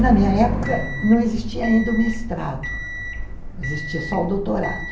Na minha época, não existia ainda o mestrado, existia só o doutorado.